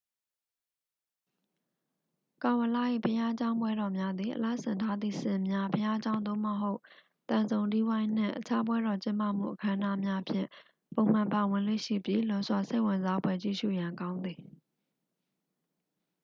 ကာဝလ ၏ ဘုရားကျောင်းပွဲတော်များသည် အလှဆင်ထားသည့် ဆင်များ ဘုရားကျောင်း သို့မဟုတ် သံစုံတီးဝိုင်းနှင့် အခြားပွဲတော်ကျင်းပမှုအခမ်းအနားများဖြင့် ပုံမှန်ပါဝင်လေ့ရှိပြီး လွန်စွာစိတ်ဝင်စားဖွယ် ကြည့်ရှုရန်ကောင်းသည်